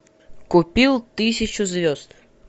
купил тысячу звезд